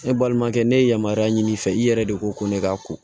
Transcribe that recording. Ne balimakɛ ne ye yamaruya ɲini i fɛ i yɛrɛ de ko ko ne ka ko